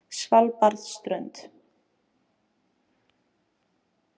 Svalbarðsströnd